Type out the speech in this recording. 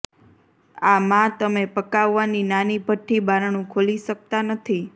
આ માં તમે પકાવવાની નાની ભઠ્ઠી બારણું ખોલી શકતા નથી